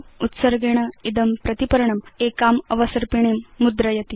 उत्सर्गेण इदं प्रतिपर्णम् एकाम् अवसर्पिणीं मुद्रयति